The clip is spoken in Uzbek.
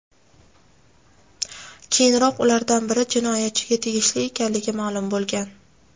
Keyinroq ulardan biri jinoyatchiga tegishli ekanligi ma’lum bo‘lgan.